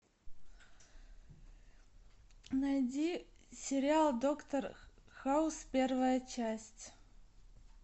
найди сериал доктор хаус первая часть